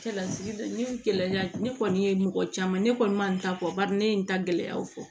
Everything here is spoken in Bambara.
Cɛlasigi ne gɛlɛya ne kɔni ye mɔgɔ caman ne kɔni ma bari ne ye n ta gɛlɛyaw fɔ